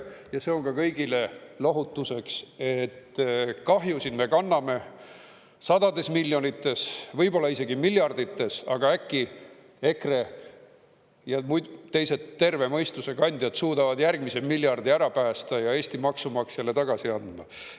Ja see on ka kõigile lohutuseks, et kahjusid me kanname sadades miljonites, võib-olla isegi miljardites, aga äkki EKRE ja teised terve mõistuse kandjad suudavad järgmise miljardi ära päästa ja Eesti maksumaksjale tagasi anda.